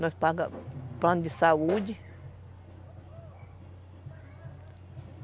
Nós pagamos plano de saúde.